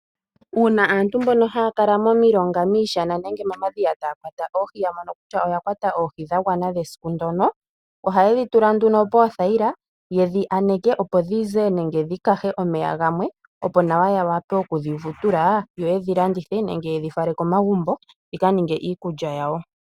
Uuna aantu mbono haya kala momilonga, miishana nenge momadhiya taya kwata oohi ya mono kutya oya kwata oohi dha gwana dhesiku ndyono, oha ye dhi tula nduno poothayila yedhi yaneke, opo dhize nenge dhi kahe omeya gamwe opo nawa ya wape oku dhi vutula yo yedhi landithe, nenge ye dhi fale komagumbo dhika ninge iikulya yawo.